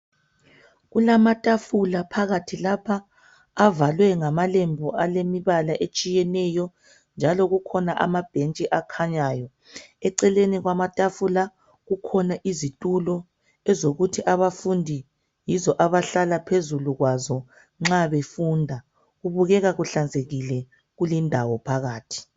Kulamatafula phakathi lapha avalwe ngamalembu alemibala etshiyeneyo, njalo kukhona amabhentshi akhanyayo. Eceleni kwamatafula, kukhona izitulo ezokuthi abafundi yizo abahlala phezulu kwazo nxa befunda. Kubukeka kuhlanzekile kulendawo phakathi.